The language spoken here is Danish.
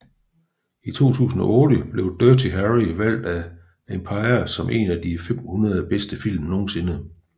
I 2008 blev Dirty Harry valgt af Empire som en af de 500 bedste film nogensinde